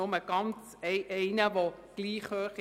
Nur ein Mietzins ist gleich hoch;